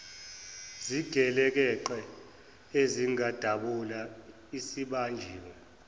zigelekeqe ezangidubula sibanjiwe